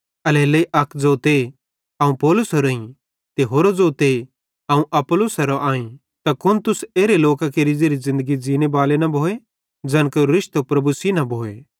एल्हेरेलेइ अक ज़ोते अवं पौलुसेरोईं ते होरो ज़ोते अवं अपुल्लोसेरो आईं त कुन तुस एरे लोकां केरि ज़ेरि ज़िन्दगी ज़ींने बाले न भोए ज़ैन केरो रिश्तो प्रभु सेइं न भोए